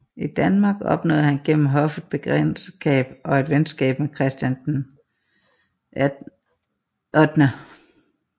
I Danmark opnåede han gennem hoffet bekendtskab og et venskab med Christian VIII